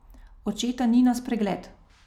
Očeta ni na spregled.